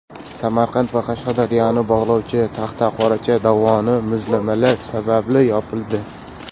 Samarqand va Qashqadaryoni bog‘lovchi Taxtaqoracha dovoni muzlamalar sababli yopildi.